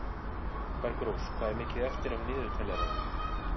Bergrós, hvað er mikið eftir af niðurteljaranum?